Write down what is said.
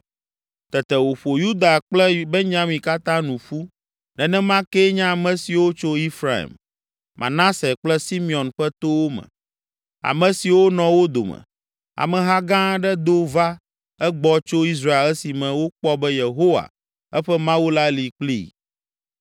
Tete wòƒo Yuda kple Benyamin katã nu ƒu, nenema kee nye ame siwo tso Efraim, Manase kple Simeon ƒe towo me, ame siwo nɔ wo dome. Ameha gã aɖe do va egbɔ tso Israel esime wokpɔ be Yehowa, eƒe Mawu la li kplii.